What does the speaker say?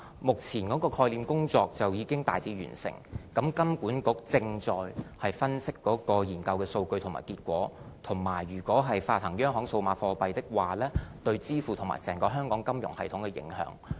目前概念認證工作已經大致完成，金管局正在分析研究數據和結果，以及如發行央行數碼貨幣，對支付方面和整個香港金融系統的影響。